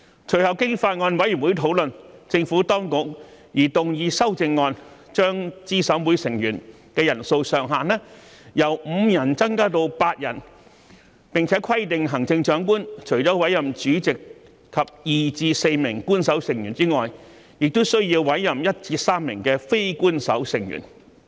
隨後經法案委員會討論，政府當局擬動議修正案，將資審會成員人數上限由5人增至8人，並規定行政長官除了委任主席及2名至4名官守成員外，亦須委任1名至3名非官守成員。